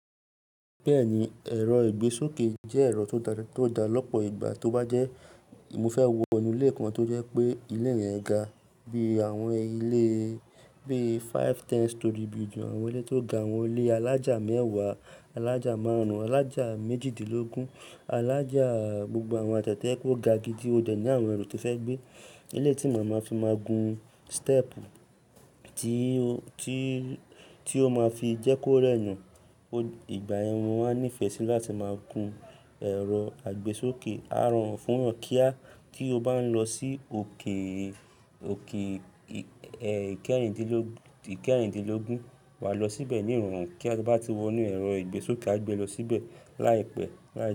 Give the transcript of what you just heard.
Bẹ́ẹ̀ni, ẹ̀rọ ìgbésókè jẹ́ ẹ̀rọ tó dá lópo ìgbà, tó bá jẹ́ mo fẹ́ wọ inú ilé kan tó jẹ́ pé ilé yẹn ga bí àwọn ilé bíi five, ten storey building, àwọn ilé tó ga, àwọn ilé alájà mẹ́wàá, alájà márùn-ún, alájà méjìdínlógún, alájà gbogbo àwọn àtèyí to kó ga gidi ó dẹ̀ ní àwọn ẹrù tí o fẹ́ gbé. Eléyìí tí màá máa fi máa gun stepu tí ó máa fi jẹ́ kó rẹ̀.mí, ìgbà yan ni mo máa n nífẹ̀ẹ́ sí láti máa gun ẹ̀rọ àgbésókè. A rọrùn fún èyàn kí a, tí o bá ń lọ sí òkè, òkè ìkẹ́ẹ̀rindínlógún, wà á lọ síbẹ̀ ní ìrọ̀rùn, kía to bá ti wọ inú ẹ̀rọ ìgbésókè á gbé ẹ lọ síbẹ̀ láìpẹ́ láì.